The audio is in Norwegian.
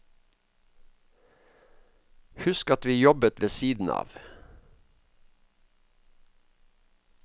Husk at vi jobbet ved siden av.